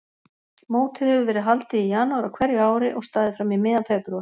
Mótið hefur verið haldið í janúar á hverju ári og staðið fram í miðjan febrúar.